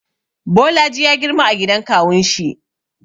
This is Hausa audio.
Bolaji ya girma a gidan kawunshi.